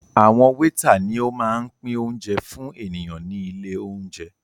Àwọn wétà ni ó máa ń pín óúnjẹ fún ènìyàn ní ilé óúnjẹ